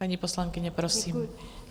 Paní poslankyně, prosím.